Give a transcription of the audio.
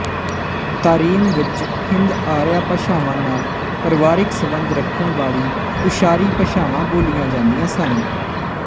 Tarim ਵਿੱਚ ਹਿੰਦ ਆਰਿਆ ਭਾਸ਼ਾਵਾਂ ਨਾਲ ਪਰਵਾਰਿਕ ਸੰਬੰਧ ਰੱਖਣ ਵਾਲੀ ਤੁਸ਼ਾਰੀ ਭਾਸ਼ਾਵਾਂ ਬੋਲੀਆਂ ਜਾਂਦੀਆਂ ਸਨ